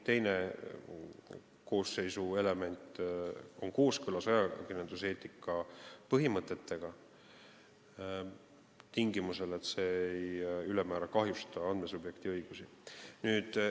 Teine element siin: on kooskõlas ajakirjanduseetika põhimõtetega ega kahjusta ülemäära andmesubjekti õigusi.